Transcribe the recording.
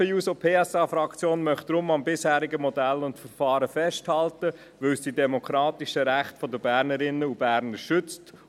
Die SP-JUSO-PSA-Fraktion möchte deshalb am bisherigen Modell und Verfahren festhalten, weil es die demokratischen Rechte der Bernerinnen und Berner schützt.